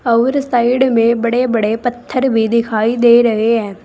अउर साइड में बड़े बड़े पत्थर भी दिखाई दे रहे है।